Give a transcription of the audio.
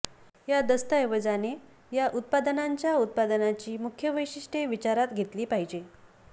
या दस्तऐवजाने या उत्पादनांच्या उत्पादनाची मुख्य वैशिष्ट्ये विचारात घेतली पाहिजे